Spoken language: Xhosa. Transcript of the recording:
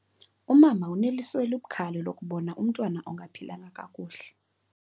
Umama uneliso elibukhali lokubona umntwana ongaphilanga kakuhle.